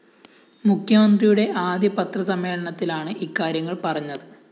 മുഖ്യമന്ത്രിയുടെ ആദ്യ പത്രസമ്മേളനത്തിലാണ് ഇക്കാര്യങ്ങള്‍ പറഞ്ഞത്